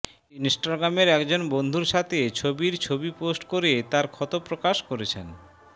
add ইনস্টাগ্রামের একজন বন্ধুর সাথে ছবির ছবি পোস্ট করে তার ক্ষত প্রকাশ করেছেন